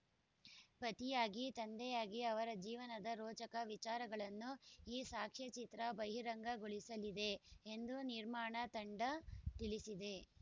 ಪತಿಯಾಗಿ ತಂದೆಯಾಗಿ ಅವರ ಜೀವನದ ರೋಚಕ ವಿಚಾರಗಳನ್ನು ಈ ಸಾಕ್ಷ್ಯಚಿತ್ರ ಬಹಿರಂಗಗೊಳಿಸಲಿದೆ ಎಂದು ನಿರ್ಮಾಣ ತಂಡ ತಿಳಿಸಿದೆ